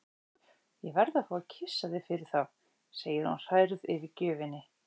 Ég verð að fá að kyssa þig fyrir þá, segir hún hrærð yfir gjöfinni.